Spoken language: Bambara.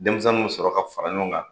Denmisɛnw sɔrɔ ka fara ɲɔgɔn kan.